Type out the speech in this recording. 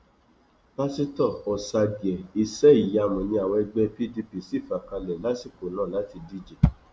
pásítọ ọsàgìẹ iṣẹìyamù ni àwọn ẹgbẹ pdp sì fà kalẹ lásìkò náà láti díje